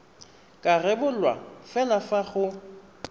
ka rebolwa fela fa go